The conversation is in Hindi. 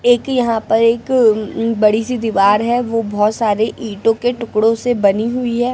एक यहां पर एक बड़ी सी दीवार है वो बहुत सारे ईंटों के टुकड़ों से बनी हुई है।